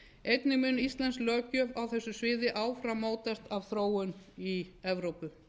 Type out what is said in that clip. einnig mun íslensk löggjöf á þessu sviði áfram mótast af þróun í evrópu